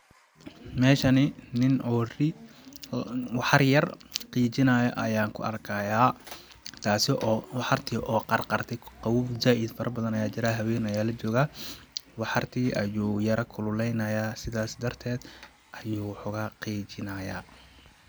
Meeshani nin oo ri'i ,waxar yar qiijinaayo ayaan ku arkayaa ,taasi oo waxar ti oo qarqarte qawoow zaaid fara badan ayaa jiraa haween ayaa la jogaa ,waxar tii ayuu yara kululeynayaa ,sidaas darteed ayuu wa xogaa qiijinayaa .